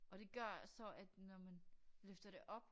Og det gør at så at når man løfter det op